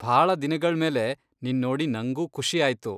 ಭಾಳ ದಿನಗಳ್ಮೇಲೆ ನಿನ್ ನೋಡಿ ನಂಗೂ ಖುಷಿ ಆಯ್ತು.